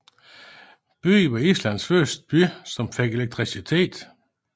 Byen var Islands første by som fik elektricitet